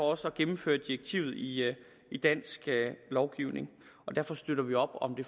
også at gennemføre direktivet i i dansk lovgivning og derfor støtter vi op om det